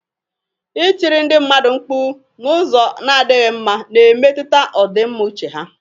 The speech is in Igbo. Ịtiri ndị mmadụ mkpu n'ụzọ na-adịghị mma na-emetụta ọdịmma uche ha.